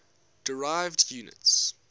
derived units